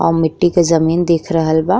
अ मिट्टी के जमीन दिख रहल बा।